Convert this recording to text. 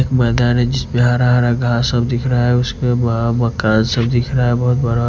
एक मैदान है जिस पे हरा हरा घास सब दिख रहा है उस पे मकान सब दिख रहा है बहोत बड़ा--